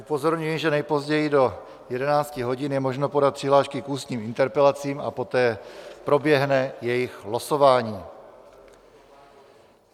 Upozorňuji, že nejpozději do 11 hodin je možno podat přihlášky k ústním interpelacím a poté proběhne jejich losování.